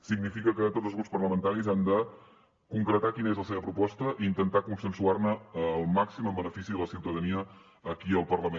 significa que tots els grups parlamentaris han de concretar quina és la seva proposta i intentar consensuar ne el màxim en benefici de la ciutadania aquí al parlament